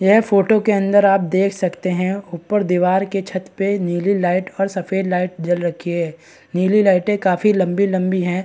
यह फोटो के अंदर आप देख सकते हैं ऊपर दीवार के छत पर नीली लाइट और सफेद लाइट जल रखी है नीली लाइटे काफी लंबी-लंबी हैं।